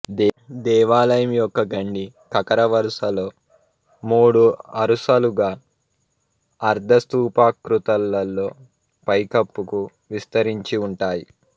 దేవాలయం యొక్క గండి ఖఖర వరుసలో మూడు అరుసలుగా అర్థ స్తూపాకృతులలో పైకప్పుకు విస్తరించి ఉంటాయి